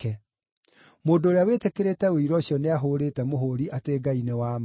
Mũndũ ũrĩa wĩtĩkĩrĩte ũira ũcio nĩahũũrĩte mũhũũri atĩ Ngai nĩ wa ma.